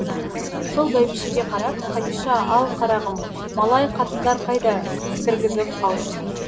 сол бәйбішеге қарап қадиша ал қарағым малай қатындар қайда кіргізіп алсын